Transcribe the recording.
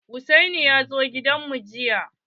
Hussaini ya zo gidan mu jiya.